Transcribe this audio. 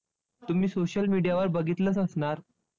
तुम्ही social media वर बघितलंच असणार.